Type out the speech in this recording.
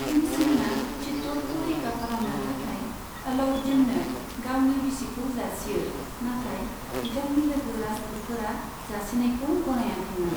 भिमसिंहआ चित्तौड़खौ रैखा खालामनो थाखाय अलाउद्दीननो गावनि बिसिखौ जासियो, नाथाय बिथांनि लोगो राजपुतफोरा जासिनायखौ गनायाखैमोन।